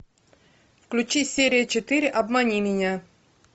включи серия четыре обмани меня